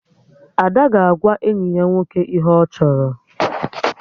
Ada ga-agwa enyi ya nwoke ihe ọ chọrọ